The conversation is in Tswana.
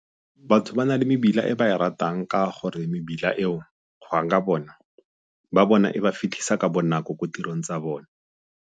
Batho ba na le mebila e ba e ratang ka gore mebila eo go ya ka bona ba bona e ba fitlhisa ka bonako ko tirong tsa bone.